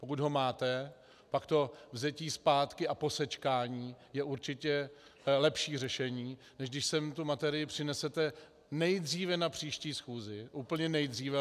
Pokud ho máte, pak to vzetí zpátky a posečkání je určitě lepší řešení, než když sem tu materii přinesete nejdříve na příští schůzi, úplně nejdříve.